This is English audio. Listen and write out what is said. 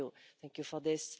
Thank you for this.